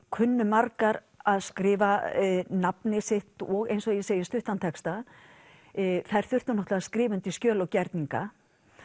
kunnu margar að skrifa nafnið sitt og eins og ég segi stuttan texta þær þurftu náttúrulega að skrifa undir skjöl og gerninga